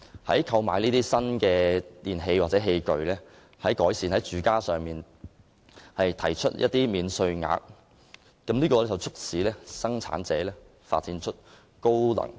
為購買新電器或器具以改善居所提供免稅額，有助鼓勵生產商發展出高效能的產品。